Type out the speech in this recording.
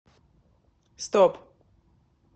стоп